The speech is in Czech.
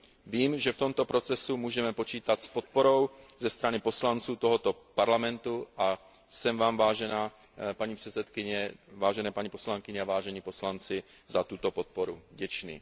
Vím, že v tomto procesu můžeme počítat s podporou ze strany poslanců tohoto Parlamentu, a jsem vám, vážená paní předsedkyně, vážené paní poslankyně a vážení poslanci, za tuto podporu vděčný.